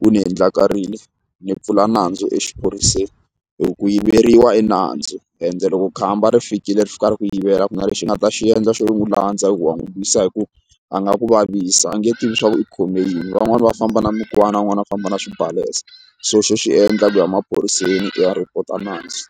wu ni endlakarile ni pfula nandzu exiphoriseni hi ku ku yiveriwa i nandzu ende loko khamba ri fikile ri fika ri ku yivela a ku na lexi nga ta xi endla xo n'wi landza i ku wa n'wi lwisa hi ku a nga ku vavisa a nge tivi leswaku i khome yini van'wani va famba na mikwana van'wani va famba na xibalesa so xo xi endla ku ya emaphoriseni u ya report-a nandzu.